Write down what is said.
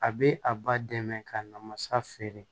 A bɛ a ba dɛmɛ ka na masa feere